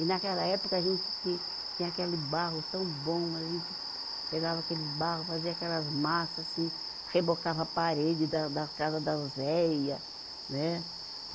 E naquela época a gente tinha, tinha aquele barro tão bom, a gente pegava aqueles barro, fazia aquelas massa assim, rebocava a parede da, da casa das velha, né?